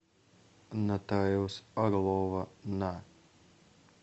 нотариус орлова на